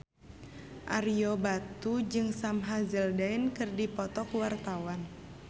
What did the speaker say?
Ario Batu jeung Sam Hazeldine keur dipoto ku wartawan